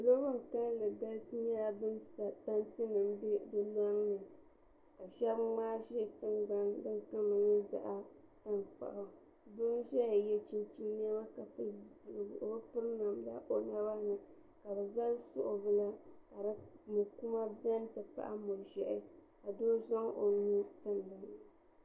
salo bin kanli galisi nyɛla bin kpa tanti nim n bɛ di loŋni ka shab ŋmaa ʒɛ tingbani tiŋ nyɛ zaɣ tankpaɣu doo n ʒɛya yɛ chinchin niɛma ka piri pili zipiligu o bi piri namda o naba ni ka bi zali suɣu bila ka muri kura biɛni ti pahi muri ʒiɛhi ka doo zaŋ o nuu tim dinni